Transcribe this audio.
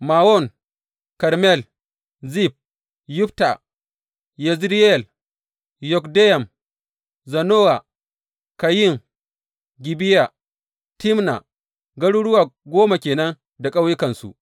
Mawon, Karmel, Zif, Yutta Yezireyel, Yokdeyam, Zanowa, Kayin, Gibeya, Timna, garuruwa goma ke nan da ƙauyukansu.